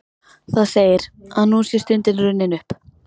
Það segir, að nú sé stundin runnin upp.